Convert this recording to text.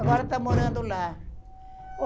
Agora está morando lá.